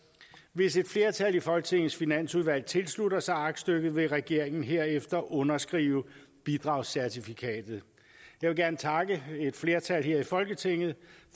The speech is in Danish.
hvis et flertal i folketingets finansudvalg tilslutter sig aktstykket vil regeringen herefter underskrive bidragscertifikatet jeg vil gerne takke et flertal her i folketinget